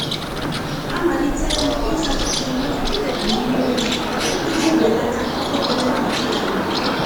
Amalitere m ịsacha uwe na mmiri oyi iji belata ọkụ eletrik anyị.